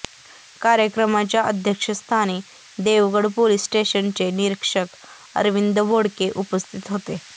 कार्यक्रमाच्या अध्यक्षस्थानी देवगड पोलीस स्टेशनचे निरीक्षक अरविंद बोडके उपस्थित होते